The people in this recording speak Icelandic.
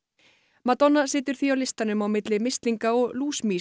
Madonna situr því á listanum á milli mislinga og